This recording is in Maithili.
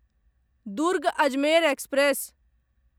दुर्ग अजमेर एक्सप्रेस